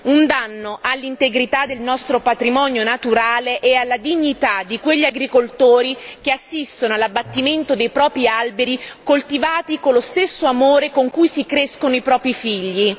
Un danno all'integrità del nostro patrimonio naturale e alla dignità di quegli agricoltori che assistono all'abbattimento dei propri alberi coltivati con lo stesso amore con cui si crescono i propri figli.